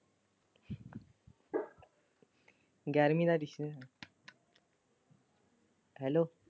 ਗਿਆਰਵੀਂ ਸ਼ੁਰੂ ਹੋ ਜਾਣੀ hello